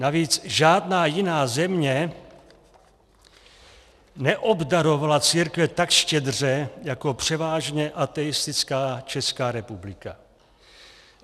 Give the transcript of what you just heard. Navíc žádná jiná země neobdarovala církve tak štědře jako převážně ateistická Česká republika.